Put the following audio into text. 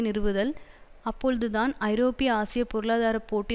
நிறுவதல் அப்பொழுதுதான் ஐரோப்பிய ஆசிய பொருளாதார போட்டி